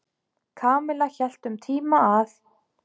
Kamilla hélt um tíma að